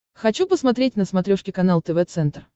хочу посмотреть на смотрешке канал тв центр